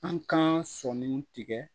An kan sɔnniw tigɛ